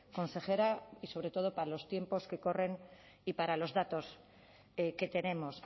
consejera y sobre todo para los tiempos que corren y para los datos que tenemos